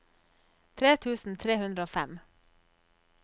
tre tusen tre hundre og fem